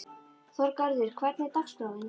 Þorgarður, hvernig er dagskráin?